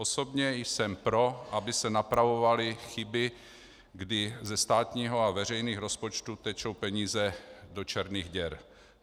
Osobně jsem pro, aby se napravovaly chyby, kdy ze státního a veřejných rozpočtů tečou peníze do černých děr.